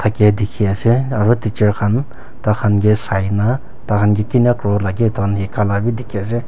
ke dikhe ase aro teacher khan tai khan ke sai na tai khan ke kinika kuribole lage itu khan hikai la bi dikhai ase.